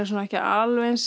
ekki alveg eins